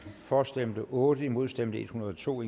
for stemte otte imod stemte en hundrede og to